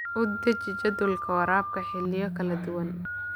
U deji jadwalka waraabka xilliyo kala duwan.